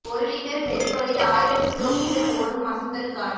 ஒரு லிட்டர் பெட்ரோலில் ஆயிரம் கிலோ மீட்டர் ஓடும் அசத்தல் கார்